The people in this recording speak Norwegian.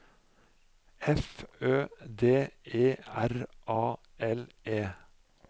F Ø D E R A L E